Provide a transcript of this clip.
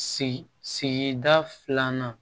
Si sigida filanan